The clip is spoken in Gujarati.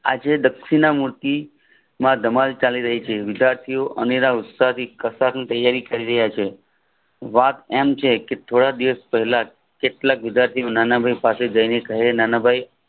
આજે દક્ષિણ મૂર્તિ માં ધમાલ ચાલી રહી છે વિદ્યાર્થીઓ અનેરા ઉત્સાહથી કશાકની તૈયારી કરી રહ્યા છે વાત એમ છે કે થોડાક દિવસ પહેલા કેટલાક વિદ્યાર્થીઓ નાનાભાઈ પાસે જાય ને કહે નાનાભાઈ